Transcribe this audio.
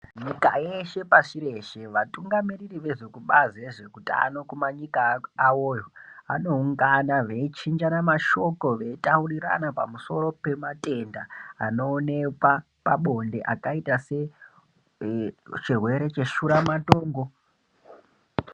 Nyika yeshe pashi reshe vatungamiriri vezvekubazi rezveutano kumanyika awoyo anoungana veichinjana mashoko veitaurirana pamusoro pematenda anoonekwa pabonde akaita sechirwere cheshuramatongo.